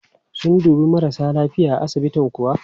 Sun dubi marasa lafiya a asibitin kuwa?